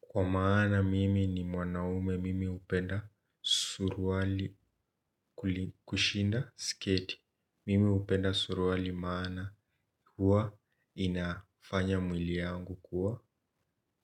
Kwa maana mimi ni mwanaume mimi hupenda suruwali kushinda sketi. Mimi upenda suruwali maana huwa inafanya mwiliyangu kuwa